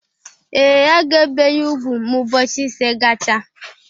Ee, a ga-ebe ya ugwu ma ụbọchị ise gacha